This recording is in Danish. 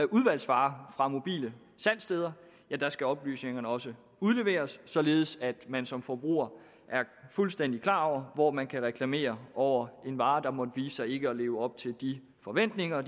udvalgsvarer fra mobile salgssteder skal oplysningerne også udleveres således at man som forbruger er fuldstændig klar over hvor man kan reklamere over en vare der måtte vise sig ikke at leve op til de forventninger og